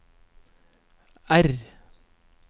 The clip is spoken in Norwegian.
R